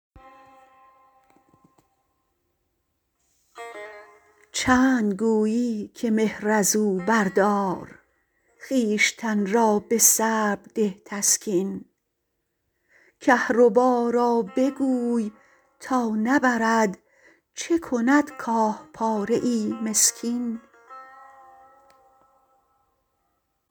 چند گویی که مهر ازو بردار خویشتن را به صبر ده تسکین کهربا را بگوی تا نبرد چه کند کاه پاره ای مسکین